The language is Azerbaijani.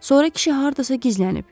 Sonra kişi hardasa gizlənib.